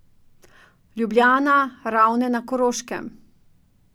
Ljubljana, Ravne na Koroškem.